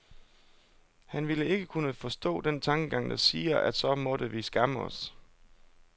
Han ville ikke kunne forstå den tankegang, der siger, at så måtte vi skamme os.